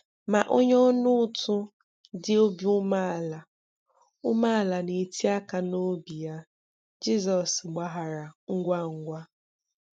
Ma onye ọnaụtụ dị obi umeala umeala na-eti aka n'obi ya, Jizọs gbaghara ngwa ngwa.